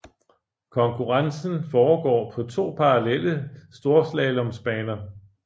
Konkurrencen foregår på to parallelle storslaloms baner